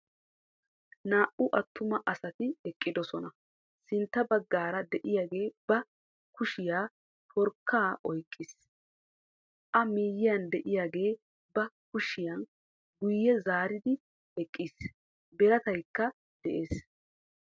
Naa"u attuma asati eqqidosona. Sintta baggaara de'iyagee ba kushiyan forkkaa oyqqiis, a miyiyan de'iyagee ba kushiya guyye zaaridi eqqiis, birataykka de'ees.